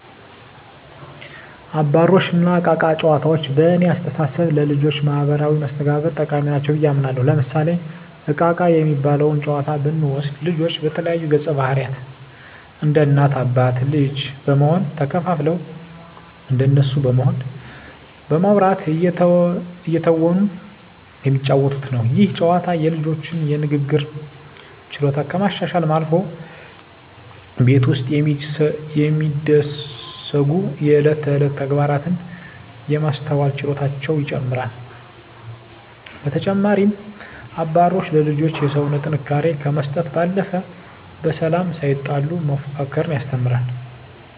አባሮሽ እና እቃ እቃ ጨዋታዎች በእኔ አስተሳሰብ ለልጆች ማህበራዊ መስተጋብር ጠቃሚ ናቸው ብየ አምናለሁ። ለምሳሌ እቃ እቃ የሚባለውን ጨዋታ ብንወስድ ልጆች የተለያዩ ገፀባህርይ እንደ እናት አባት ልጅ በመሆን ተከፋፍለው እንደነሱ በመሆን በማዉራት እየተወኑ የሚጫወቱት ነው። ይህ ጨዋታ የልጆቹን የንግግር ችሎታ ከማሻሻልም አልፎ ቤት ውስጥ የሚደሰጉ የእለት ተእለት ተግባራትን የማስተዋል ችሎታቸውን ይጨመራል። በተጨማሪም አባሮሽ ለልጆች የሰውነት ጥንካሬ ከመስጠት ባለፈ በሰላም ሳይጣሉ መፎካከርን ያስተምራል።